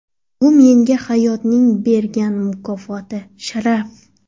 Bu menga hayotning bergan mukofoti, sharaf.